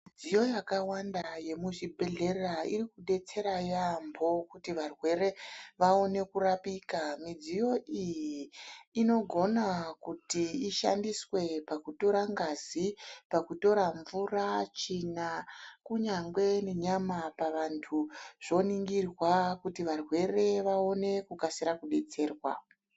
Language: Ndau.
Midziyo yakawanda yemuzvibhedhlera irikudetsera yambo, kuti varwere vawone kurapika. Midziyo iyi, inogona kuti ishandiswe pakutora ngazi, pakutora mvura, tsvina, kunyangwe nenyama pavanthu. Zoningirwa kuti varwere vawone kukasira kudetserwa.